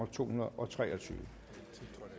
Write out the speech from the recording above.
to hundrede og tre og tyve